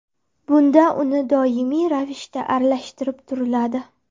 Bunda unni doimiy ravishda aralashtirib turiladi.